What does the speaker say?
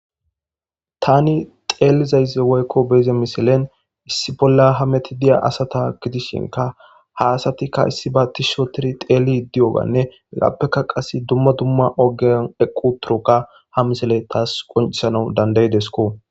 tani xeelizayze woykko beeze misilen issi bolla hameti diya asata gidishinka ha asatikka issi baa tis sho tiri xeeli di7oganne eqappeka qas dumma dumma ogen eqqu turoka ha misiley taas qoncisanau dandaydesko